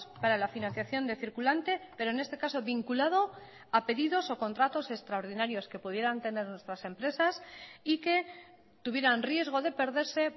para la financiación de circulante pero en este caso vinculado a pedidos o contratos extraordinarios que pudieran tener nuestras empresas y que tuvieran riesgo de perderse